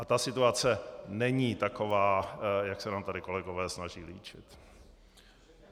A ta situace není taková, jak se nám tady kolegové snaží líčit.